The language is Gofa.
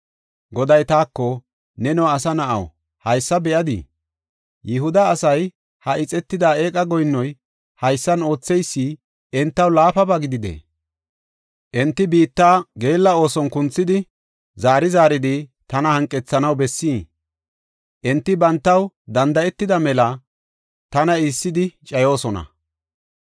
Goday taako, “Neno asa na7aw, haysa be7adii? Yihuda asay ha ixetida eqa goyinnoy haysan ootheysi entaw laafaba gididee? Enti biitta geella ooson kunthidi, zaari zaaridi tana hanqethanaw bessii? Enti bantaw danda7etida mela tana iissidi cayoosona.